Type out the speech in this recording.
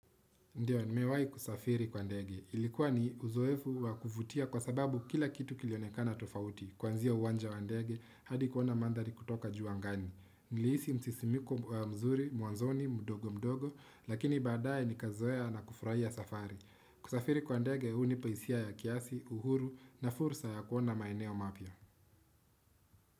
Ndiyo, ni mewai kusafiri kwa ndege. Ilikuwa ni uzoefu wakuvutia kwa sababu kila kitu kilionekana tofauti. Kuanzia uwanja wa ndege, hadi kuona mandhari kutoka juu angani. Niliisi msisimiko wa mzuri, mwanzoni, mdogo mdogo, lakini baadaye ni kazoea na kufurahia safari. Kusafiri kwa ndege, huu ni paisia ya kiasi, uhuru na fursa ya kuona maeneo mapya.